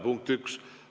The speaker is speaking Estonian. Punkt üks.